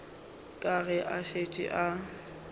ka ge a šetše a